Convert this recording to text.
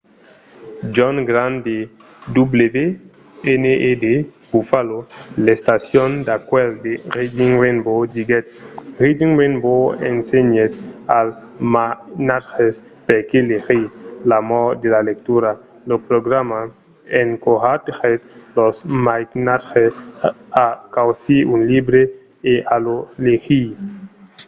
john grant de wned buffalo l'estacion d'acuèlh de reading rainbow diguèt: reading rainbow ensenhèt als mainatges perqué legir,... l'amor de la lectura — [lo programa] encoratgèt los mainatges a causir un libre e a lo legir.